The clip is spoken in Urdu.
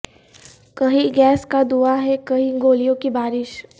کہیں گیس کا دھواں ہے کہیں گولیوں کی بارش